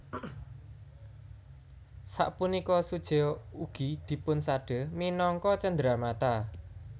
Sapunika sujeo ugi dipunsade minangka cenderamata